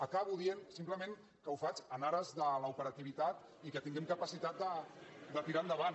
acabo dient simplement que ho faig en ares de l’operativitat i que tinguem capacitat de tirar endavant